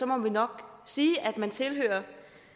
må vi nok sige at man tilhører